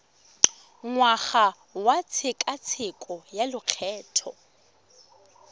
ngwaga wa tshekatsheko ya lokgetho